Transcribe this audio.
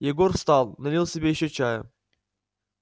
егор встал налил себе ещё чая